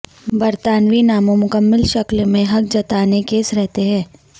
برطانوی ناموں مکمل شکل میں حق جتانے کیس رہتے ہیں